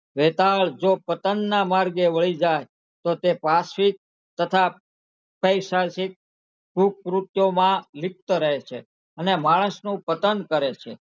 વેતાળ જો પતનના માર્ગે વહી જાય તો તે પાર્શ્વિક તથા ખુબ કૃત્યોમાં લિપ્ત રહે છે અને માણસનું પતન કરે છે.